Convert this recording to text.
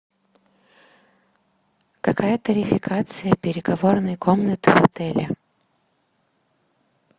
какая тарификация переговорной комнаты в отеле